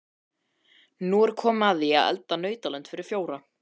Nú er komið að því að elda nautalund fyrir fjóra.